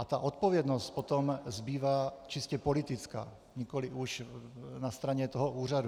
A ta odpovědnost potom zbývá čistě politická, nikoliv už na straně toho úřadu.